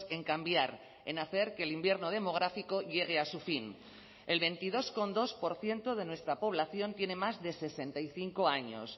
en cambiar en hacer que el invierno demográfico llegue a su fin el veintidós coma dos por ciento de nuestra población tiene más de sesenta y cinco años